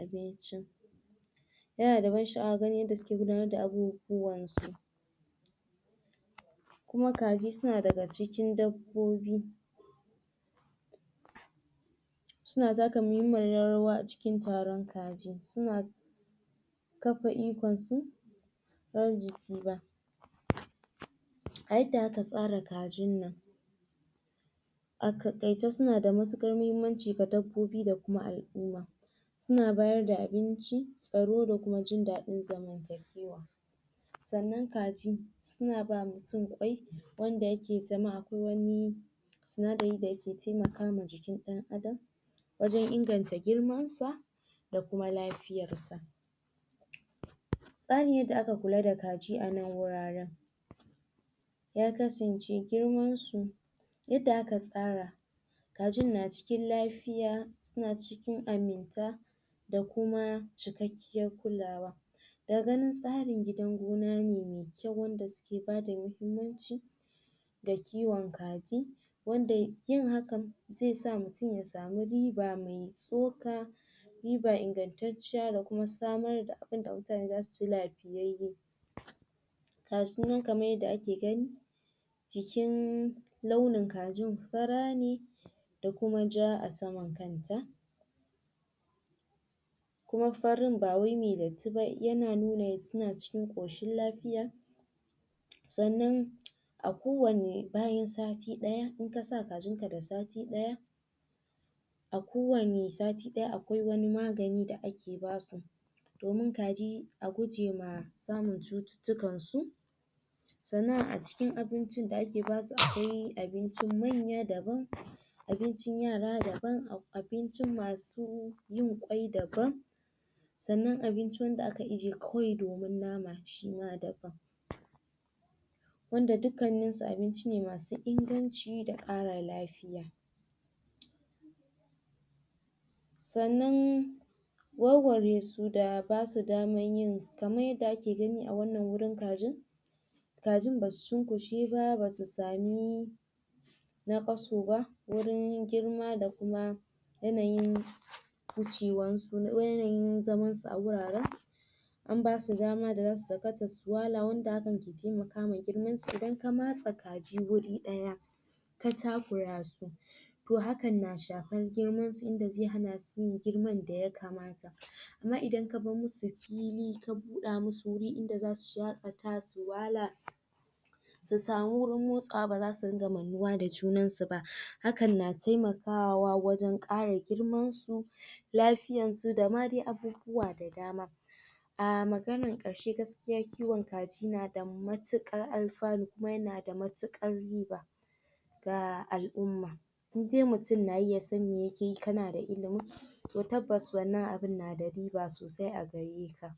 abincin yanada da ban sha'awa gani yadda suke gudanar da abubuwansu kuma kaji suna daga cikin dabbobi suna taka muhimmiyar rawa a cikin taron kaji, suna kafa ikonsu ba a yadda aka tsara kajin nan a takaice suna da matukar muhimmanci ga dabbobi da kuma al'umma suna bada abinci, tsaro, da kuma jin dadin zama zamanakewa sannan kaji suna ba mutum kwai wanda yake zama akwai wani sindari da yake taimakawa jikin dan adam wajen inganta girman sa da kuma lafiyarsa tsarin yadda aka kula da kaji anan wuraren ya kansance girmasu yadda aka tsara kajin na cikin lafiya suna cikin aminta da kuma cikkakiyar kulawa daga ganin tsarin gidan gona mai kyau wanda suke bada muhimm... muhimmancin da kiwon kaji wanda yi hakan zaisa mutum ya sama riba mai mai tsoka riba ingantacciya da kuma samar da abin da mutane zasu ci lafiyyaye gashi nan kaman yadda ake gani jikin launi kajin fara ne da kuma ja a saman kanta kuma farin bawai mai datti ba, yana nuna suna cikin koshin lafiya sanna a ko wani sati ɗaya, inka sa kajin ka da sati ɗaya a ko wani sati daya akwai wani magan da ake basu domin kaji a guje ma samun cuttutukan su sannan a cikin abincin da ake basu akwai abincin manya daban abincn yara daban, a a abincn masu masu yin kwai daban sannan abinc da aka ije kawai domin nama shi ma daban wanda dukkannin su abinci masu inganci da kara lafiya sannan wawware su da basu daman yin..... kaman yadda ake gani a wannan wurin kajin kajin basu cukushe ba basu sami naƘasu ba, wurin girma da kuma yanyin yanayin zaman su a wuraren an basu dama daza su sakata su wala wanda hakan ke taimakma girmansu, idan ka matse kaji wuri ɗaya ka takura su to hakan na shafan girman su inda zai hana su girman daya kamata amma idan ka bar musu pili ka buɗa musu wuri inda zasu shakata su wala su sama wurin motsawa basu ringa mannuwa da junan suba hakan na taimakwa wajen kara girman su lafiyansu da ma dai abubuwa dai ahhh maganar karshe gaskiya kiwon kaji nada matukar alfanu kuma yanada matukar riba ga al'umma indai mutum nayi ya san me yakeyi kanada ilimin to tabbass wannan abun nada riba sosai a gareka